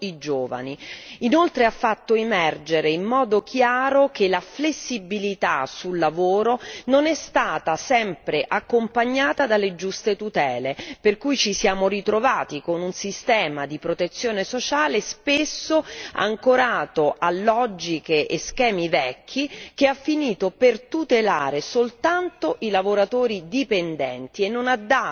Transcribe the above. Inoltre, ha fatto emergere in modo chiaro che la flessibilità sul lavoro non è stata sempre accompagnata dalle giuste tutele, per cui ci siamo ritrovati con un sistema di protezione sociale spesso ancorato a logiche e schemi vecchi, che ha finito per tutelare soltanto i lavoratori dipendenti e non ha dato alcuna